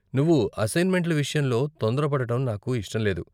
నువ్వు అస్సైన్మెంట్ల విషయంలో తొందర పడటం నాకు ఇష్టం లేదు.